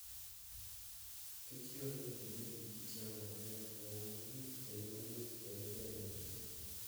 Kich dwarore ni gibed gi kit yamo maber yamo maliet kendo mang'ich kendo ber ne kich